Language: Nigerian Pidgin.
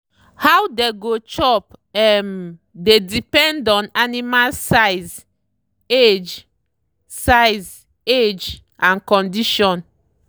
how dey go chop um dey depend on animal size age size age and condition.